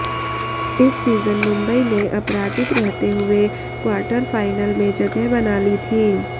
इस सीजन मुंबई ने अपराजित रहते हुए क्वार्टर फाइनल में जगह बना ली थी